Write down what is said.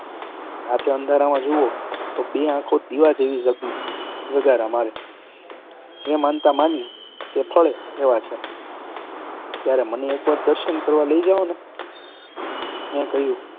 રાતે અંધારામાં જુઓ તો બે આંખો દીવા જેવી ઝગારા મારે. જે માનતા માનીએ તે ફળે એવાં છે! ત્યારે મને એક વાર દર્શન કરવા લઈ જાઓને! મેં કહ્યું